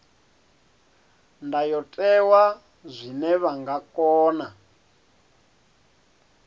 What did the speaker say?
ndayotewa zwine vha nga kona